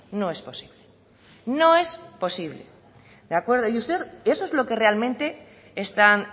no es posible no es posible de acuerdo y usted y eso es lo que realmente están